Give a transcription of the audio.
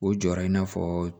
O jɔyɔrɔ in n'a fɔ